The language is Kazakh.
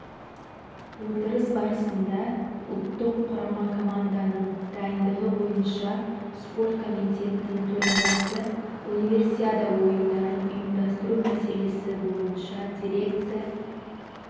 отырыс барысында ұлттық құрама команданың дайындығы бойынша спорт комитетінің төрағасы универсиада ойындарын ұйымдастыру мәселесі бойынша дирекция